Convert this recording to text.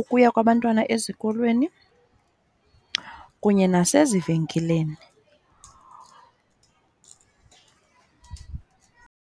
ukuya kwabantwana ezikolweni, kunye nasezivenkileni.